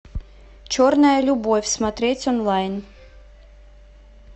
черная любовь смотреть онлайн